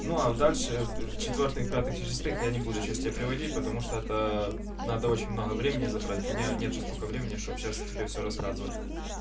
ну а дальше в четвёртых пятых и шестых я не буду сейчас тебе приходить потому что это надо очень много времени забрать у меня нету столько времени чтобы сейчас тебе все рассказывать